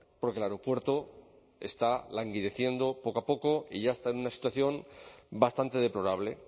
porque el aeropuerto está languideciendo poco a poco y ya está en una situación bastante deplorable